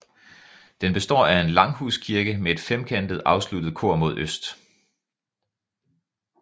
Den består af en langhuskirke med et femkantet afsluttet kor mod øst